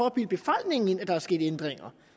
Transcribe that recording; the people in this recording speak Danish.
at bilde befolkningen ind at der er sket ændringer